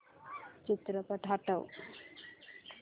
चित्रपट हटव